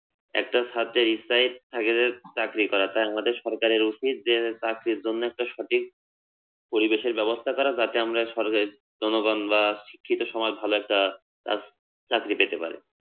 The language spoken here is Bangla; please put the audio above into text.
একটা ছাত্রের ইচ্ছায় থাকে যে চাকরি করা তাই আমাদের সরকারের উচিত যে চাকরির জন্যে একটা সঠিক পরিবেশের ব্যবস্থা করা যাতে আমরা জনগণ বা শিক্ষিত সমাজ ভালো একটা চাকরি পেতে পারে